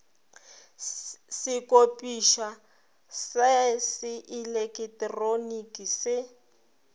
sekopišwa sa se eleketeroniki se